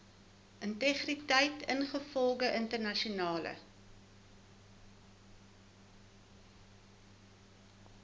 integriteit ingevolge internasionale